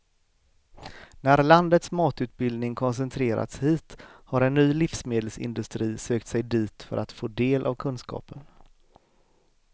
När landets matutbildning koncentrerats hit har en ny livsmedelsindustri sökt sig dit för att få del av kunskapen.